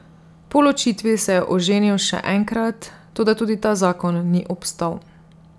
Po ločitvi se je oženil še enkrat, toda tudi ta zakon ni obstal.